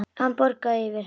Hann bograði yfir henni.